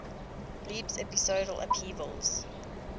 leaps episodal upheavals